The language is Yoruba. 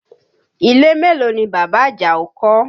Ilé mélòó ni bàbá Àjàó kọ́?